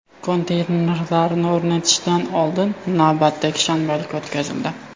Konteynerlarni o‘rnatishdan oldin navbatdagi shanbalik o‘tkazildi.